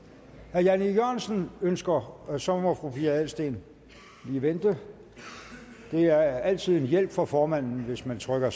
herre jan e jørgensen ønsker ordet så må fru pia adelsteen lige vente det er altid en hjælp for formanden hvis man trykker